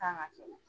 Kan ka kɛ